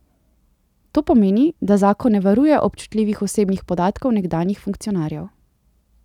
To pomeni, da zakon ne varuje občutljivih osebnih podatkov nekdanjih funkcionarjev.